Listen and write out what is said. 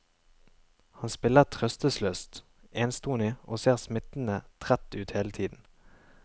Han spiller trøstesløst enstonig, og ser smittende trett ut hele tiden.